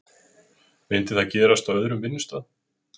Myndi það gerast á öðrum vinnustað?